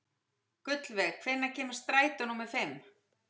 Gullveig, hvenær kemur strætó númer fimm?